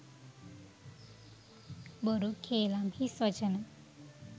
බොරු කේළාම් හිස්වචන,